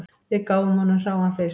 Við gáfum honum hráan fisk